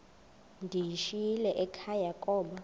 ndiyishiyile ekhaya koba